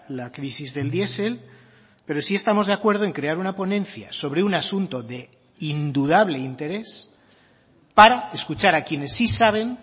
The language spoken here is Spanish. la crisis del diesel pero sí estamos de acuerdo en crear una ponencia sobre un asunto de indudable interés para escuchar a quienes sí saben